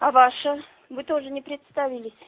а ваше вы тоже не представились